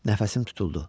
Nəfəsim tutuldu.